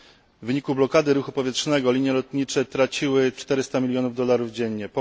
W wyniku blokady ruchu powietrznego linie lotnicze straciły 400 milionów dolarów dziennie.